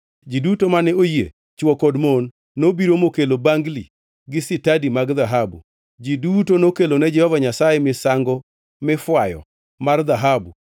Ji duto mane oyie, chwo kod mon, nobiro mokelo bangli gi sitadi mag dhahabu. Ji duto nokelo ne Jehova Nyasaye misango mifwayo mar dhahabu,